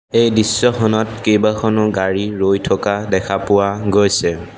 এই দৃশ্যখনত কেইবাখনো গাড়ী ৰৈ থকা দেখা পোৱা গৈছে।